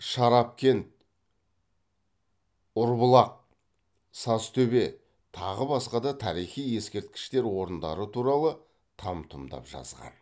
шарапкент ұрбұлақ сазтөбе тағы басқа да тарихи ескерткіштер орындары туралы там тұмдап жазған